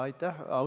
Aitäh!